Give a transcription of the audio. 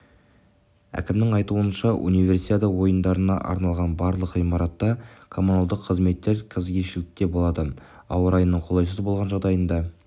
әкімнің айтуынша универсиада ойындарына арналған барлық ғимаратта коммуналдық қызметтер кезекшілікте болады ауа райының қолайсыз болған жағдайында